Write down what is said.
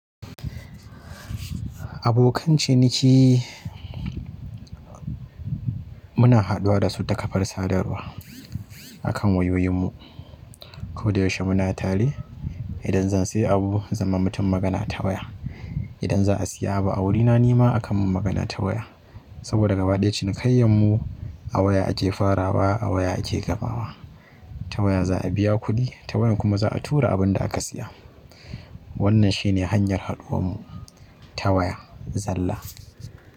Abokan ciniki, muna haɗuwa dasu ta ƙafar sadarwa akan wayoyin mu. Ko da yaushe muna tare. Idan zan sayi abu zan ma mutum magana ta waya. Idan za a siya abu a wurina nima aka mun magana ta waya. Saboda gaba ɗaya cinikayyan mu a waya ake farawa a waya ake gamawa. Ta waya za a biya kuɗi ta waya kuma za a tura abin da aka siya. Wannan shi ne hanyar haduwarmu ta waya zalla.